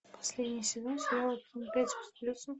последний сезон сериала пять с плюсом